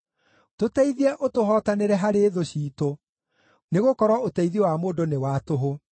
Tũteithie ũtũhootanĩre harĩ thũ ciitũ, nĩgũkorwo ũteithio wa mũndũ nĩ wa tũhũ.